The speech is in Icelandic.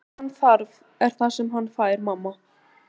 Það sem hann þarf er það sem hann fær, mamma.